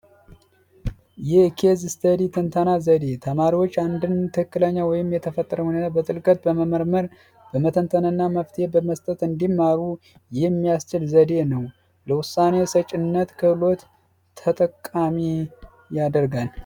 የኬዝ ስተዲ ትንተና ዘደ ተማሪዎች አንድ ትክክለኛ ወይም የተፈጠረ ሁኔታ በጥልቀት በመመርመር በመተንተንና መፍትሄ በመስጠት እንዲማሩ ያደርጋል